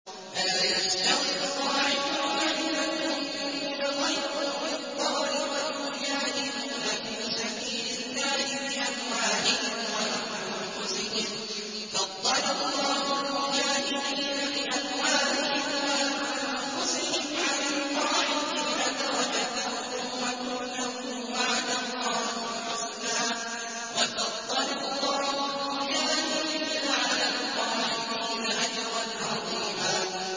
لَّا يَسْتَوِي الْقَاعِدُونَ مِنَ الْمُؤْمِنِينَ غَيْرُ أُولِي الضَّرَرِ وَالْمُجَاهِدُونَ فِي سَبِيلِ اللَّهِ بِأَمْوَالِهِمْ وَأَنفُسِهِمْ ۚ فَضَّلَ اللَّهُ الْمُجَاهِدِينَ بِأَمْوَالِهِمْ وَأَنفُسِهِمْ عَلَى الْقَاعِدِينَ دَرَجَةً ۚ وَكُلًّا وَعَدَ اللَّهُ الْحُسْنَىٰ ۚ وَفَضَّلَ اللَّهُ الْمُجَاهِدِينَ عَلَى الْقَاعِدِينَ أَجْرًا عَظِيمًا